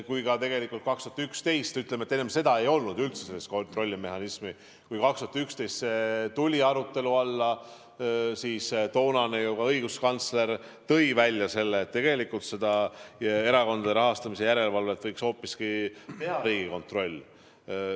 Kui 2011. aastal see arutelu alla tuli – ütleme, et enne seda ei olnud üldse sellist kontrollimehhanismi –, siis ju toonane õiguskantsler tõi ka välja, et erakondade rahastamise järelevalvet võiks hoopiski teha Riigikontroll.